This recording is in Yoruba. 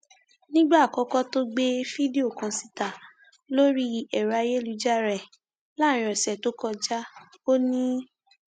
nígbà àkọkọ tó gbé fídíò kan síta lórí ẹrọ ayélujára ẹ láàrin ọsẹ tó kọjá o ní